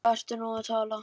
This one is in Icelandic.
Um hvað ertu nú að tala?